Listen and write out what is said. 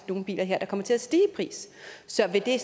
nogle biler her der kommer til at stige i pris så vil det